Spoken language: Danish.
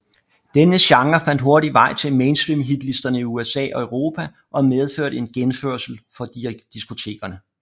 Denne genre fandt hurtigt vej til mainstream hitlisterne i USA og Europa og medførte en genfødsel for diskotekerne